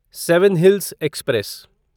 seven hills express